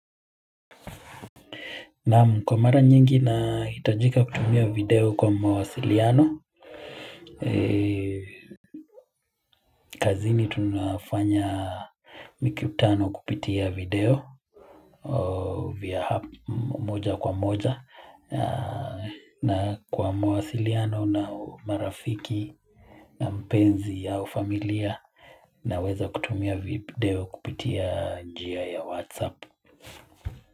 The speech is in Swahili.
Naam kwa mara nyingi nahitajika kutumia video kwa mawasiliano kazini tunafanya mikutano kupitia video vya app moja kwa moja na kwa mawasiliano na marafiki na mpenzi ya ufamilia naweza kutumia video kupitia njia ya WhatsApp.